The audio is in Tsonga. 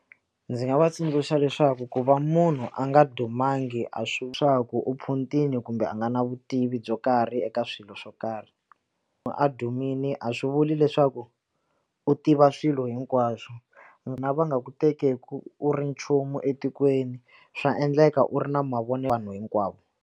Ndzi nga va tsundzuxa leswaku ku va munhu a nga dumangi a swi vuli leswaku u phuntile kumbe a nga na vutivi byo karhi eka swilo swo karhi ku a dumile a swi vuli leswaku u tiva swilo hinkwaswo wena va nga ku teki ku u ri nchumu etikweni swa endleka u ri na vanhu hinkwavo.